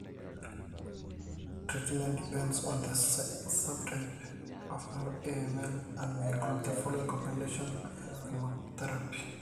Treatment depends on the subtype of AML and may include the following: Combination chemotherapy.